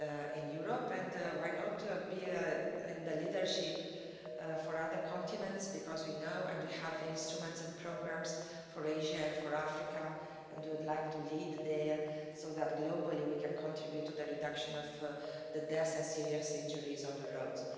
in Europe and why not to the leadership for other continents, because we know and we have instruments and programmes for Asia and for Africa and would like to lead there, so that globally we can contribute to the reduction of deaths and serious injuries on the roads.